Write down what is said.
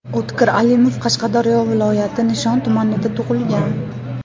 O‘tkir Alimov Qashqadaryo viloyati Nishon tumanida tug‘ilgan.